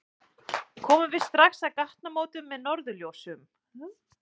Komum við strax að gatnamótum með norðurljósum